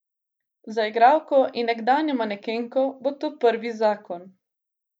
Za igralko in nekdanjo manekenko bo to prvi zakon.